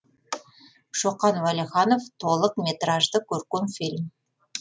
шоқан уәлиханов толық метражды көркем фильм